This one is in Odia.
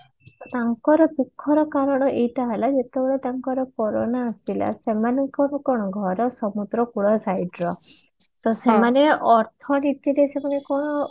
ତାଙ୍କର ଦୁଖର କାରଣ ଏଇଟା ହେଲା ଯେତେବେଳେ ତାଙ୍କର କରୋନ ଆସିଲା ସେମାନଙ୍କର କଣ ଘର ସମୁଦ୍ର କୂଳ site ର ତ ସେମାନେ ଅର୍ଥନୀତିରେ ସେମାନଙ୍କର